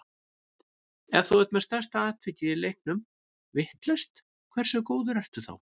Ef þú ert með stærsta atvikið í leiknum vitlaust, hversu góður ertu þá?